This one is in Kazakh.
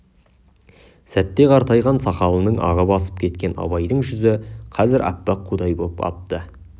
сәтте қартайған сақалының ағы басып кеткен абайдың жүзі қазір аппақ қудай боп апты